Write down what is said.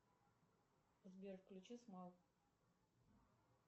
сбер включи смал